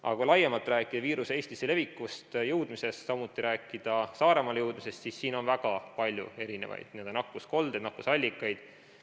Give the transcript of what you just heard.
Aga kui laiemalt rääkida viiruse Eestisse levimisest, samuti Saaremaale jõudmisest, siis siin on olnud väga palju erinevaid n-ö nakkuskoldeid, nakkusallikaid.